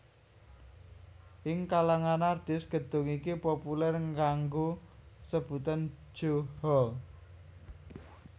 Ing kalangan artis gedung iki populer nganggo sebutan Jo Hall